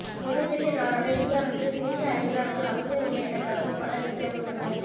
மிகப்பெரிய நாடான இந்தியாவுக்கு சிறிய அயல்நாடுகள் அவசியமில்லை எனக் கருதும் பலர் இந்தியாவில் உள்ளனர்